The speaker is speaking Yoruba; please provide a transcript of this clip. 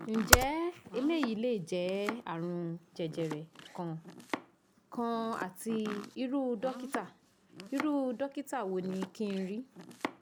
nje eleyi le je arun jejere kan kan ati iru dokita iru dokita wo ni kin ri